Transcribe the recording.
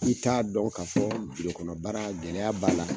I ka dɔn ka fɔ baara gɛlɛya b'a la.